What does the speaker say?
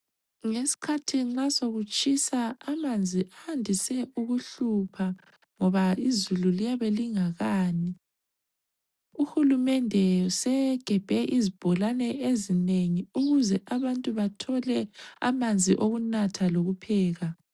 Ngesikhathi nxa sokutshisa amanzi ayandise ukuhlupha ngoba izulu liyabe lingakani, uhulumende usegebhe izibholane ezinengi ukuze abantu bathole amanzi okunatha lokupheka.